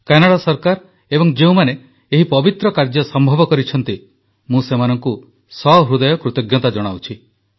Canada ସରକାର ଏବଂ ଯେଉଁମାନେ ଏହି ପବିତ୍ର କାର୍ଯ୍ୟ ସମ୍ଭବ କରିଛନ୍ତି ମୁଁ ସେମାନଙ୍କୁ ସହୃଦୟ କୃତଜ୍ଞତା ଜଣାଉଛି